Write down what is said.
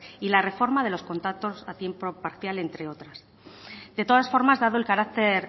y la reforma de los contratos a tiempo parcial entre otras de todas formas dado el carácter